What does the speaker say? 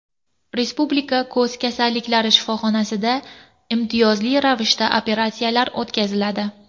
Respublika ko‘z kasalliklari shifoxonasida imtiyozli ravishda operatsiyalar o‘tkaziladi.